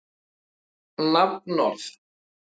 Eigendur Lotnu gerðu tilboð